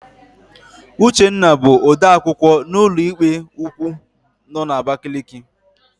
Uchenna bụ odeakwụkwọ na ụlọikpe ukwu nọ n'Abakaliki.